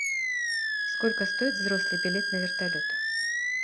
сколько стоит взрослый билет на вертолет